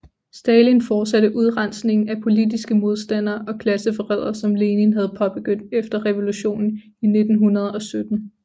Stalin fortsatte udrensningen af politiske modstandere og klasseforrædere som Lenin havde påbegyndt efter revolutionen i 1917